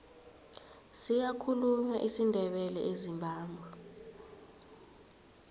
siyakhulunywa isindebele ezimbabwe